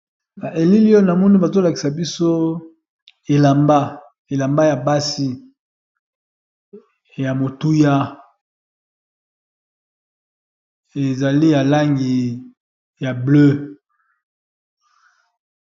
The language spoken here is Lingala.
ba elilio na mono bazolakisa biso elamba ya basi ya motuya ezali alangi ya bleu